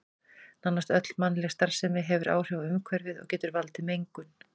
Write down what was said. Nánast öll mannleg starfsemi hefur áhrif á umhverfið og getur valdið mengun.